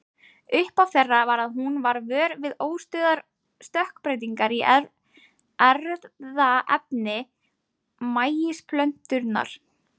Upphaf þeirra var að hún varð vör við óstöðugar stökkbreytingar í erfðaefni maísplöntunnar.